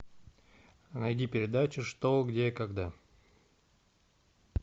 найди передачу что где когда